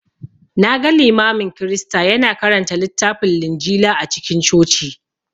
Na ga Limamin Kirista ya na karanta littafin Linjila a cikin Coci